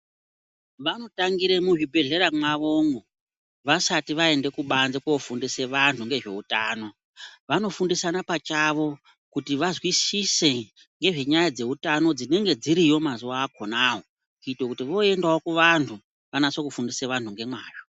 Vanotangire muzvibhedhlera mwavomwo vasati vaende kubanze kofundiswe vantu ngezvehutano. Vanofundisana pachavo kuti vazwisise ngezvenyaya dzeutano dzinenge dziriyo mazuva akonayo kuite kuti voendavo kuvantu votofundise vantu ngemwazvo.